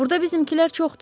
Burda bizimkilər çoxdur.